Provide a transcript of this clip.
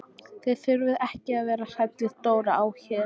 Þið þurfið ekki að vera hrædd við Dóra á Her.